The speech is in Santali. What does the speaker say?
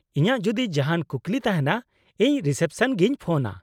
-ᱤᱧᱟᱹᱜ ᱡᱩᱫᱤ ᱡᱟᱦᱟᱱ ᱠᱩᱠᱞᱤ ᱛᱟᱦᱮᱱᱟ, ᱤᱧ ᱨᱤᱥᱮᱯᱥᱚᱱᱨᱮᱜᱤᱧ ᱯᱷᱳᱱᱼᱟ ᱾